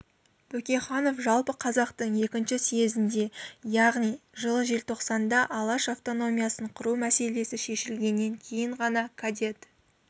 бөкейханов жалпы қазақтың екінші съезінде яғни жылы желтоқсанда алаш автономиясын құру мәселесі шешілгеннен кейін ғана кадет